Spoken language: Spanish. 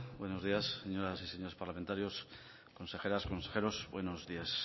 buenos días señoras y señores parlamentarios consejeras consejeros buenos días